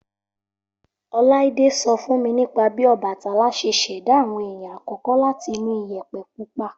Olaide so fún mi nípa bí Ọbàtálá ṣẹ́ ṣẹ̀dá àwọn èèyàn àkọ́kọ́ láti inú Iyẹ̀pẹ̀ pupa.